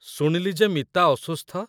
ଶୁଣିଲି ଯେ ମିତା ଅସୁସ୍ଥ।